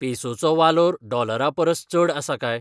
पेसोचो वालोर डॉलरापरस चड आसा काय?